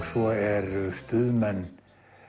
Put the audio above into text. svo eru Stuðmenn